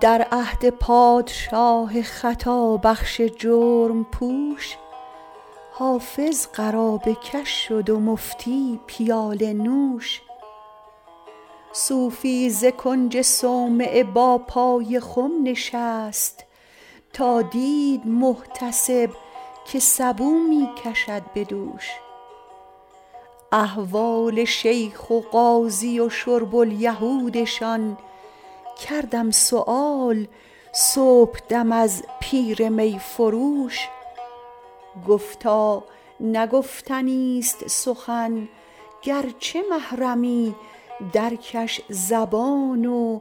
در عهد پادشاه خطابخش جرم پوش حافظ قرابه کش شد و مفتی پیاله نوش صوفی ز کنج صومعه با پای خم نشست تا دید محتسب که سبو می کشد به دوش احوال شیخ و قاضی و شرب الیهودشان کردم سؤال صبحدم از پیر می فروش گفتا نه گفتنیست سخن گرچه محرمی درکش زبان و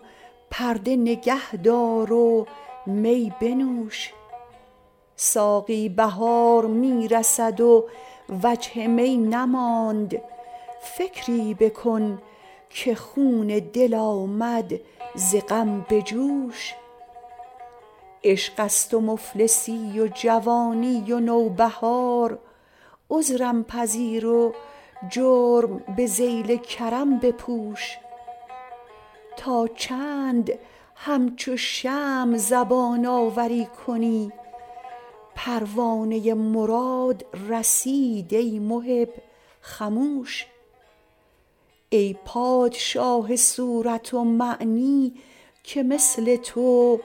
پرده نگه دار و می بنوش ساقی بهار می رسد و وجه می نماند فکری بکن که خون دل آمد ز غم به جوش عشق است و مفلسی و جوانی و نوبهار عذرم پذیر و جرم به ذیل کرم بپوش تا چند همچو شمع زبان آوری کنی پروانه مراد رسید ای محب خموش ای پادشاه صورت و معنی که مثل تو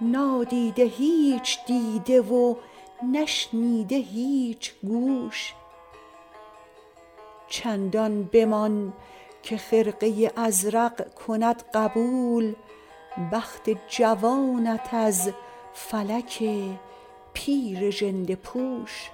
نادیده هیچ دیده و نشنیده هیچ گوش چندان بمان که خرقه ازرق کند قبول بخت جوانت از فلک پیر ژنده پوش